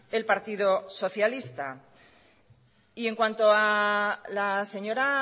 el partido socialista y en cuanto a la señora